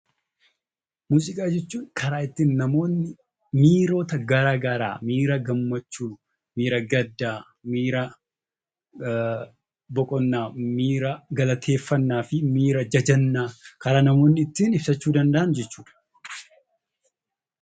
Muuziqaa jechuun karaa ittiin namoonni miirota gara garaa, miirota gammachuu, miira gaddaa, miira boqonnaa, miira galateeffannaa fi miira jajannaa kan namoonni ittiin ibsachuu danda'an jechuu dha.